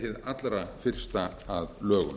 allra fyrsta að lögum